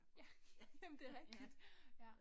Ja, jamen det rigtigt ja